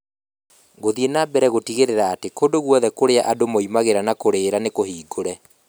Gũthiĩ na mbere gũtigĩrĩra atĩ kũndũ guothe kũrĩa andũ moimagĩra na kũũrĩra nĩ kũhingũre